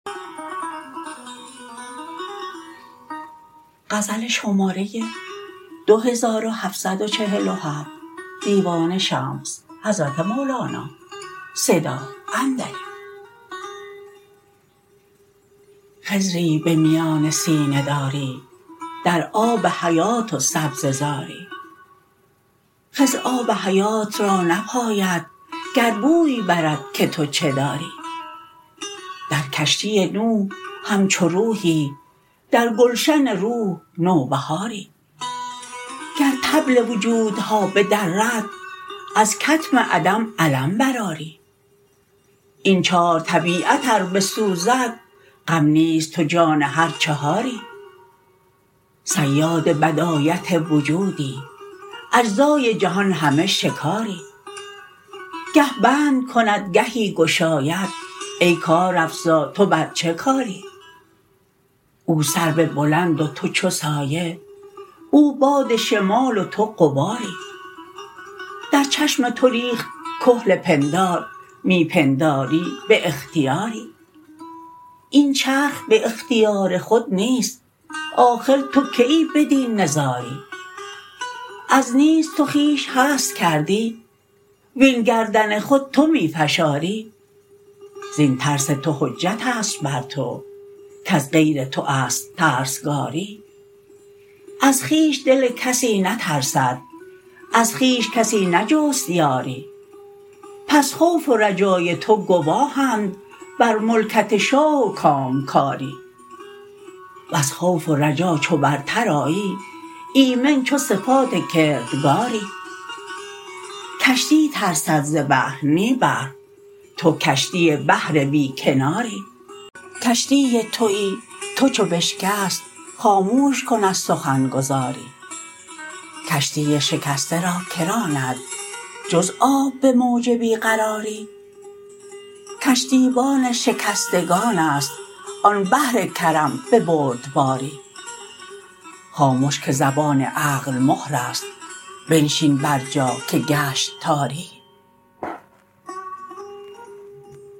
خضری به میان سینه داری در آب حیات و سبزه زاری خضر آب حیات را نپاید گر بوی برد که تو چه داری در کشتی نوح همچو روحی در گلشن روح نوبهاری گر طبل وجودها بدرد از کتم عدم علم برآری این چار طبیعت ار بسوزد غم نیست تو جان هر چهاری صیاد بدایت وجودی اجزای جهان همه شکاری گه بند کند گهی گشاید ای کارافزا تو بر چه کاری او سرو بلند و تو چو سایه او باد شمال و تو غباری در چشم تو ریخت کحل پندار می پنداری به اختیاری این چرخ به اختیار خود نیست آخر تو کیی بدین نزاری از نیست تو خویش هست کردی وین گردن خود تو می فشاری زین ترس تو حجت است بر تو کز غیر تو است ترسگاری از خویش دل کسی نترسد از خویش کسی نجست یاری پس خوف و رجای تو گواهند بر ملکت شاه و کامکاری وز خوف و رجا چو برتر آیی ایمن چو صفات کردگاری کشتی ترسد ز بحر نی بحر تو کشتی بحر بی کناری کشتی توی تو چو بشکست خاموش کن از سخن گزاری کشتی شکسته را کی راند جز آب به موج بی قراری کشتیبان شکستگان است آن بحر کرم به بردباری خامش که زبان عقل مهر است بنشین بر جا که گشت تاری